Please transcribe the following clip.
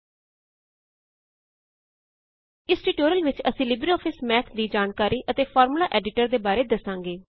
ਇਸ ਟਿਊਟੋਰਿਅਲ ਵਿੱਚ ਅਸੀਂ ਲਿਬਰੇਆਫਿਸ ਮੈਥ ਦੀ ਜਾਣਕਾਰੀ ਅਤੇ ਫ਼ਾਰਮੂਲਾ ਐਡੀਟਰ ਦੇ ਬਾਰੇ ਦੱਸਾਂਗੇ